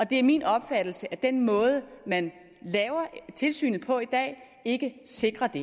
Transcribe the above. det er min opfattelse at den måde man laver tilsynet på i dag ikke sikrer det